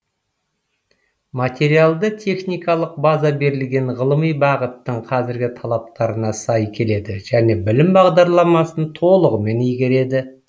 материалды техникалық база берілген ғылыми бағыттың қазіргі талаптарына сай келеді және білім бағдарламасын толығымен игереді